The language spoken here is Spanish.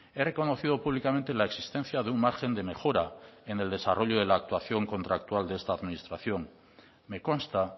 he reconocido públicamente la existencia de un margen de mejora en el desarrollo de la actuación contractual de esta administración me consta